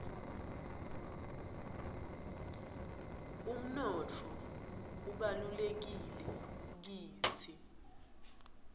umnotfo ubalulekile kitsi